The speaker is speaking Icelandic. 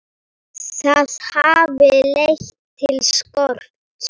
Það hafi leitt til skorts.